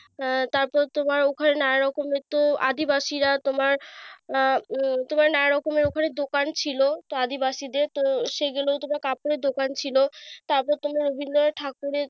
আহ তারপর তোমার ওখানে নানা রকমের তো আদিবাসীরা। তোমার আহ তোমার নানা রকমের ওখনে দোকান ছিল আদিবাসীদের। সেইজন্য তোমার কাপড়ের দোকান ছিল। তারপর তোমার বিভিন্ন ঠাকুরের,